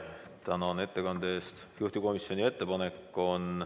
Tänan ettekande eest!